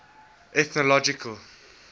ethnological